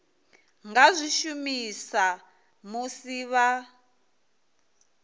nga zwi shumisa musi vha